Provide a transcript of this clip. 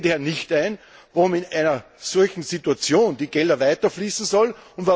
Ich sehe daher nicht ein, warum in einer solchen Situation die Gelder weiter fließen sollen.